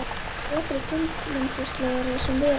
Vetur er þunglyndislegri sem og vera ber.